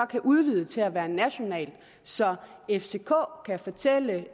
kan udvide til at være national så fck kan fortælle